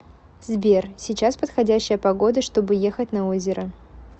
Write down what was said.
сбер сейчас подходящая погода чтобы ехать на озеро